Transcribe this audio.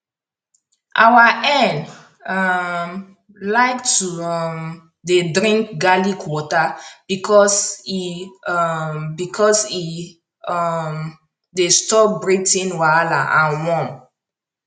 our hen um like to um dey drink garlic water because e um because e um dey stop breathing wahala and worm